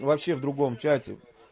он вообще в другом чате